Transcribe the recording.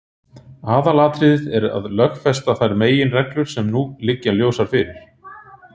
Aðalatriðið er að lögfesta þær meginreglur sem nú liggja ljósar fyrir.